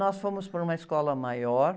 Nós fomos para uma escola maior.